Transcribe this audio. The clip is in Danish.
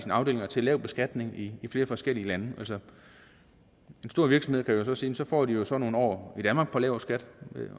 afdelinger til lav beskatning i flere forskellige lande altså en stor virksomhed kan jo så sige så får de så nogle år i danmark på lav skat